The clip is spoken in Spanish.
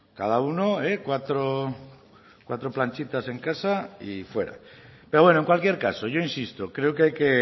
cada uno cuatro planchitas en casa y fuera pero bueno en cualquier caso yo insisto creo que hay que